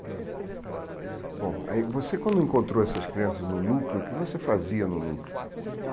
É, então, bom, aí você quando encontrou essas crianças no núcleo, o que você fazia no núcleo? Então